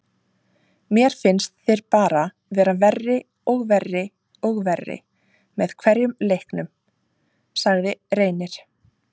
Mér finnst þeir bara vera verri og verri og verri með hverjum leiknum, sagði Reynir.